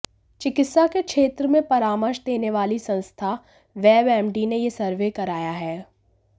चिकित्सा के क्षेत्र में परामर्श देने वाली संस्था वेबएमडी ने यह सर्वे कराया है